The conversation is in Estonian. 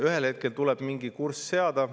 Ühel hetkel tuleb mingi kurss seada.